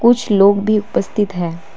कुछ लोग भी उपस्थित हैं।